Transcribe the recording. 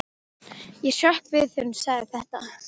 Ég hrökk við þegar hún sagði þetta.